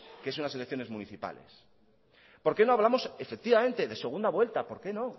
que son las elecciones municipales por qué no hablamos efectivamente de segunda vuelta por qué no